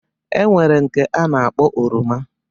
E nwere nke a na-akpọ oroma.